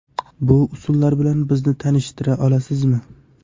Bu usullar bilan bizni tanishtira olasizmi?